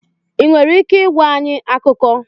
Ị nwere ike ịgwa anyị akụkọ?